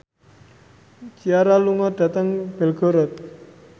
Ciara lunga dhateng Belgorod